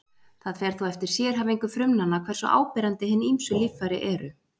það fer þó eftir sérhæfingu frumnanna hversu áberandi hin ýmsu líffæri eru